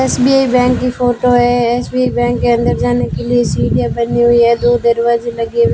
SBI bank की photo है SBI bank के अंदर जाने के लिए सीढ़ियां बनी हुई है दो दरवाजे लगे हुए--